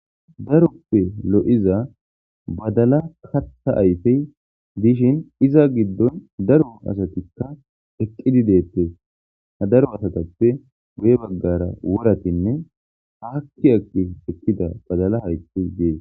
Darope lo'za badala katha ayfe dishin iza gidon daro asati eqidi detes ha daro asatape guye bagara woratine aki aki utida badala hayti dees.